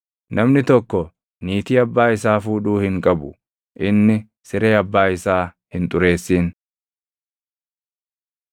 Namni tokko niitii abbaa isaa fuudhuu hin qabu; inni siree abbaa isaa hin xureessin.